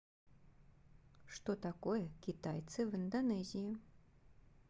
что такое китайцы в индонезии